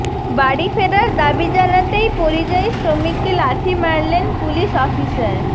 বাড়ি ফেরার দাবি জানাতেই পরিযায়ী শ্রমিককে লাথি মারলেন পুলিশ অফিসার